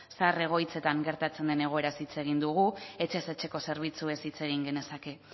zahar egoitzetan gertatzen den egoeraz hitz egin dugu etxez etxeko zerbitzuez hitz egin genezake